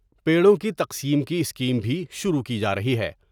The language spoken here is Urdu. پیڑوں کی تقسیم کی اسکیم بھی شروع کی جارہی ہے ۔